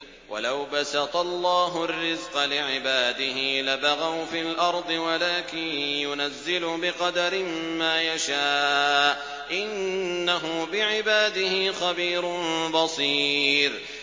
۞ وَلَوْ بَسَطَ اللَّهُ الرِّزْقَ لِعِبَادِهِ لَبَغَوْا فِي الْأَرْضِ وَلَٰكِن يُنَزِّلُ بِقَدَرٍ مَّا يَشَاءُ ۚ إِنَّهُ بِعِبَادِهِ خَبِيرٌ بَصِيرٌ